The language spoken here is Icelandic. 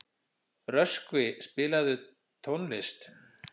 Röskvi, spilaðu tónlist.